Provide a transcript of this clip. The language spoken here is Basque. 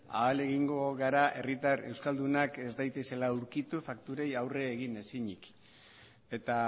ahalegingo gara herritar euskaldunak ez daitezela aurkitu fakturei aurre egin ezinik eta